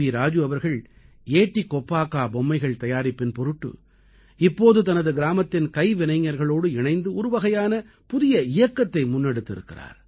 ராஜு அவர்கள் ஏட்டி கொப்பாக்கா பொம்மைகள் தயாரிப்பின் பொருட்டு இப்போது தனது கிராமத்தின் கைவினைஞர்களோடு இணைந்து ஒரு வகையான புதிய இயக்கத்தை முன்னெடுத்து இருக்கிறார்